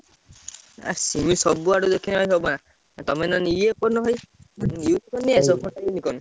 ଅ ସିଏ ସବୁ ଆଡେ ଦେଖିଲେ ସେଇଆ।